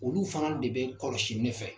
Olu fana de bɛ kɔlɔsi ne fɛ